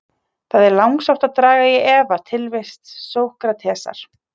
Það er langsótt að draga í efa tilvist Sókratesar.